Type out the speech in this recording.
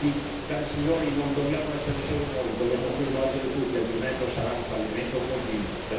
Quindi, cari signori, non dobbiamo essere solo noi, dobbiamo coinvolgere tutti, altrimenti sarà un fallimento continuo.